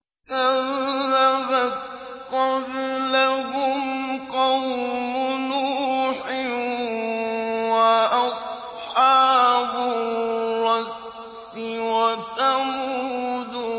كَذَّبَتْ قَبْلَهُمْ قَوْمُ نُوحٍ وَأَصْحَابُ الرَّسِّ وَثَمُودُ